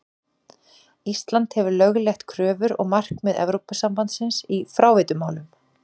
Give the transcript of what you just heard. Ísland hefur lögleitt kröfur og markmið Evrópusambandsins í fráveitumálum.